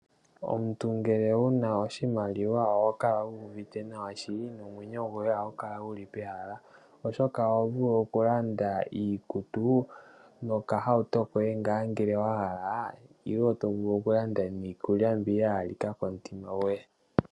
Omuntu ngele wuna oshimaliwa oho kala wuuvite nawa shili nomwenyo goye ohagu kala guli pehala , oshoka oho vulu okulanda iikutu nokahauto koye ngaa ngele wa hala nenge to vulu okulanda iikulya mbi ya halika komutima goye.